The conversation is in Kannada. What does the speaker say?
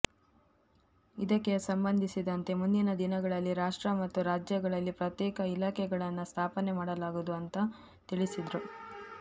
ಇದಕ್ಕೆ ಸಂಬಂಧಿಸಿದಂತೆ ಮುಂದಿನ ದಿನಗಳಲ್ಲಿ ರಾಷ್ಟ್ರ ಮತ್ತು ರಾಜ್ಯಗಳಲ್ಲಿ ಪ್ರತ್ಯೇಕ ಇಲಾಖೆಗಳನ್ನ ಸ್ಥಾಪನೆ ಮಾಡಲಾಗುವುದು ಅಂತ ತಿಳಿಸಿದ್ರು